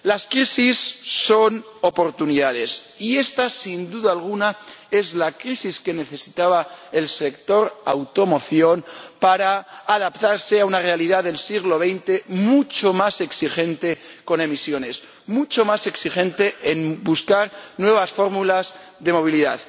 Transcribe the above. Las crisis son oportunidades y esta, sin duda alguna, es la crisis que necesitaba el sector de la automoción para adaptarse a una realidad del siglo XX mucho más exigente con las emisiones, mucho más exigente en la búsqueda de nuevas fórmulas de movilidad.